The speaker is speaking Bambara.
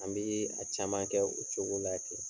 An bi a caman kɛ, o cogo la ten.